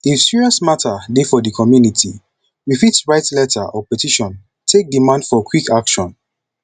if serious mata dey for di community you fit write letter or petition take demand for quick action